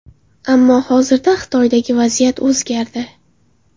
Ammo hozirda Xitoydagi vaziyat o‘zgardi.